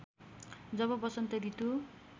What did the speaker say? जब बसन्त ऋतु